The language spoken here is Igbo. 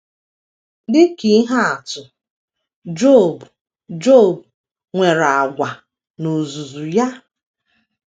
Dị ka ihe atụ, Job, Job nwere àgwà n’ozuzu ya.